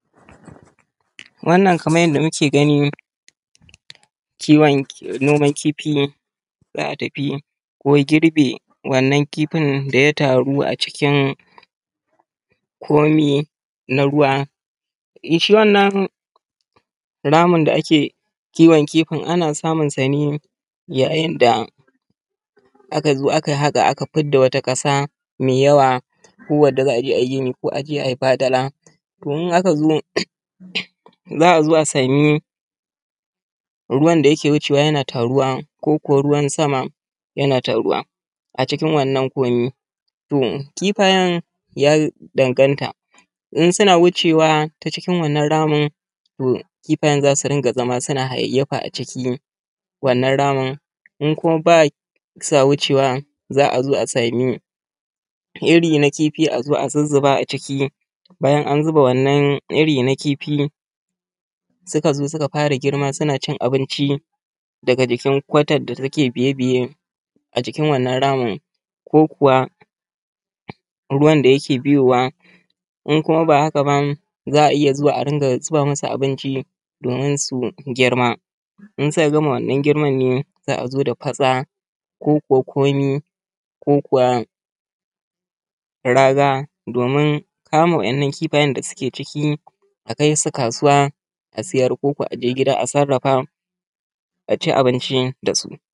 Wannan kamar yanda muke gani kiwon noman kifi ne za a tafi ko girbe wanan kifin da ya taru a cikin komi na ruwa. Shi wannan ramin da ake kiwon kifi ana samun sa ne yayin da aka zo aka haƙa, aka fidda wata ƙasa mai yawa, ko wanda za a je a yi gini ko a je a yi fadala. To in aka zo za a zo a sami ruwan da yake wucewa yana taruwa koko ruwan sama yana taruwa a cikin wannan komi. To kifayan ya danganta in suna wucewa ta cikin wannan ramin to kifayan za su dinga zama suna hayayyafa a cikin wannan ramin. In kuma ba sa wucewa za a zo a samu iri na kifi a zo a zuzzuba a ciki, bayan an zuba wannan iri na kifi suka zo suka fara girma suna cin abinci daga jikin kwatan da take biye biye a jikin wannan ramin, ko kuwa ruwan da yake biyowa. In kuma ba haka ba za a iya zuwa a ringa zuba masu abinci domin su girma. In suka gama wannan girman ne za a zo da fatsa, ko kuwa komi, ko kuwa raga domin kama wannan kifayen da suke ciki a kai su kasuwa a siyar koko a je gida a sarrafa a ci abinci da su.